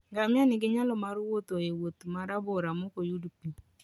Ngamia nigi nyalo mar wuotho e wuoth ma rabora maok oyud pi.